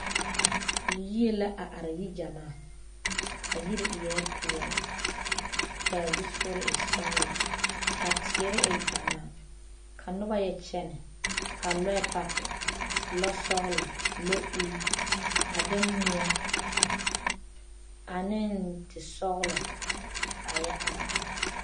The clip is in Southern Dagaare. Yie la a are yi-gyɛmaa a yiri eɛ peɛle ka a zusogiri e sɔgelɔ ka teere e gyɛmaa ka noba yɛ kyɛnɛ ka lɔɛ paki lɔ-sɔgelɔ, lɔ-ul a de moɔ ane tesɔgelɔ ka a yɛ are are.